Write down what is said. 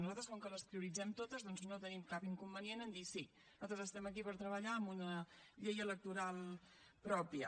nosaltres com que les prioritzem totes doncs no tenim cap inconvenient a dir sí nosaltres estem aquí per treballar en una llei electoral pròpia